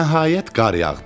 Nəhayət qar yağdı.